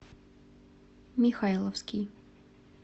михайловский